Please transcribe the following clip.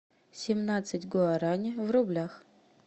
семнадцать гуарани в рублях